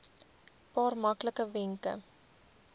paar maklike wenke